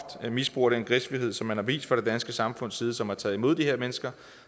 misbruger den gæstfrihed som man har vist fra det danske samfunds side som har taget imod de her mennesker